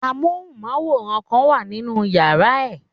Amóhùnmáwòrán kan wà nínu yàrá ẹ̀.